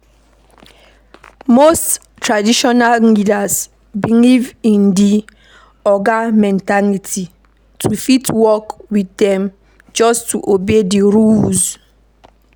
Most traditional leaders believe in di oga mentality, to fit work with dem just obey di rules